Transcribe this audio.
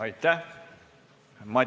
Aitäh!